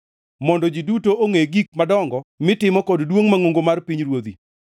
mondo ji duto ongʼe gik madongo mitimo kod duongʼ mangʼongo mar pinyruodhi.